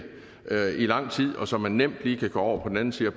lang tid og så man nemt lige kan gå over på den anden side